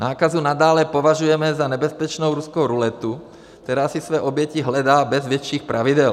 Nákazu nadále považujeme za nebezpečnou ruskou ruletu, která si své oběti hledá bez větších pravidel.